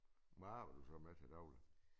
Hvad arbejder du så med til dagligt